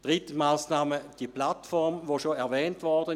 Dritte Massnahme ist die Plattform, welche bereits erwähnt wurde.